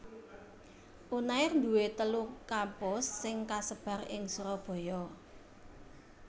Unair duwé telu kampus sing kasebar ing Surabaya